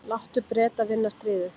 Láttu Breta vinna stríðið.